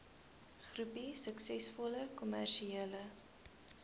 groepie suksesvolle kommersiële